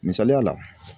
Misaliya la